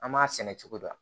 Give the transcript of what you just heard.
An m'a sɛnɛ cogo di